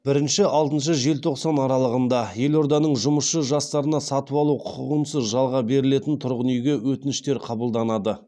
бірінші алтыншы желтоқсан аралығында елорданың жұмысшы жастарына сатып алу құқығынсыз жалға берілетін тұрғын үйге өтініштер қабылданады